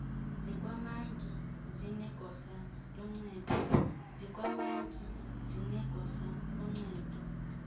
zikamantyi zinegosa loncedo